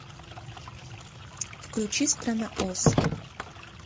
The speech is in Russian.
включи страна оз